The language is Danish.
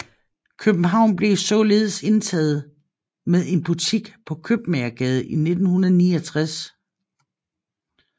København blev således indtaget med en butik på Købmagergade i 1969